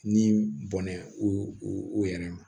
Ni bɔnɛ u u yɛrɛ ma